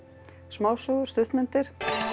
smásögur stuttmyndir